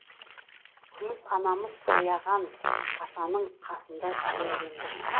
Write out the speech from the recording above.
күміс анамыз аяған атаның қасында жерленді